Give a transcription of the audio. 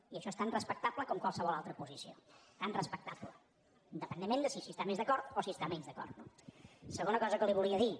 i això és tan respectable com qualsevol altra posició tan respectable independentment de si s’hi està més d’acord o s’hi està menys d’acord no segona cosa que li volia dir